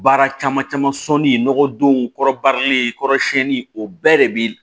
Baara caman caman sɔni nɔgɔdon kɔrɔbarilen kɔrɔ siɲɛni o bɛɛ de bi